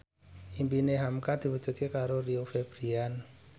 impine hamka diwujudke karo Rio Febrian